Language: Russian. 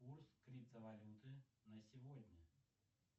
курс криптовалюты на сегодня